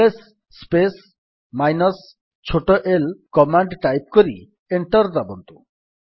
LS space minus ଛୋଟ l command type କରି enter ଦାବନ୍ତୁ